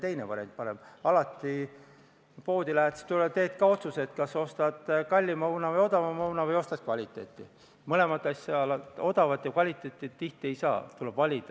Minu küsimuse mõte oli selles, et kui kiire palgakasvu tingimustes võib inimestele valikuvabadust anda ja loota teise samba püsimist, siis majanduskriisi tingimustes, kus toimetulek on raske, saab selle eelnõu põhjal endiselt loota teise samba püsimist.